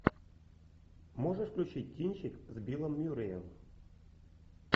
можешь включить кинчик с биллом мюрреем